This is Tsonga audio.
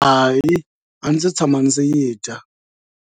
Hayi a ndzi si tshama ni yi dya.